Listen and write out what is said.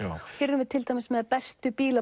hér erum við með bestu